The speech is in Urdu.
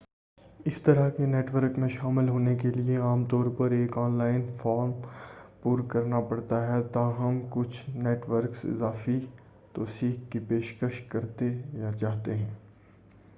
اس طرح کے نیٹ ورک میں شامل ہونے کیلئے عام طور پر ایک آن لائن فارم پُر کرنا پڑتا ہے تاہم کچھ نیٹ ورکس اضافی توثیق کی پیشکش کرتے یا چاہتے ہیں